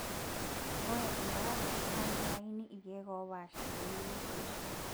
ore ebaare naa kingurakini irkeek oopaasah pee eishiu